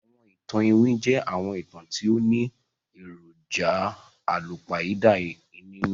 Àwọn ìtàn iwin jẹ àwọn ìtàn ti o ni èròjà àlùpàídà nínú